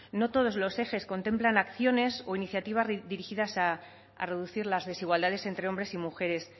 no todos los ejes contemplan acciones o iniciativas dirigidas a reducir las desigualdades entre hombres y mujeres